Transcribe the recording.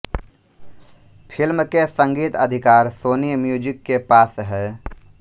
film के संगीत अधिकार सोनी म्यूजिक के पास हैं